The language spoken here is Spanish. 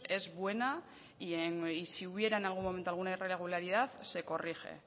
es buena y si hubiera en algún momento alguna irregularidad se corrige